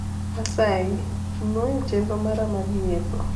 asayi nuo chenro mara mar nyiepo